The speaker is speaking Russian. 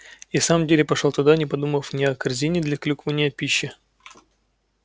и в самом деле пошёл туда не подумав ни о корзине для клюквы ни о пище